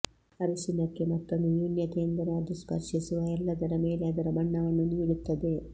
ಅರಿಶಿನಕ್ಕೆ ಮತ್ತೊಂದು ನ್ಯೂನತೆಯೆಂದರೆ ಅದು ಸ್ಪರ್ಶಿಸುವ ಎಲ್ಲದರ ಮೇಲೆ ಅದರ ಬಣ್ಣವನ್ನು ನೀಡುತ್ತದೆ